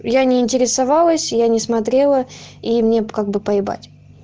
я не интересовалась я не смотрела и мне как бы поебать